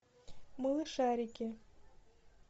малышарики